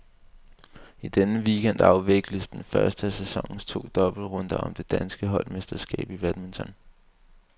I denne weekend afvikles den første af sæsonens to dobbeltrunder om det danske holdmesterskab i badminton.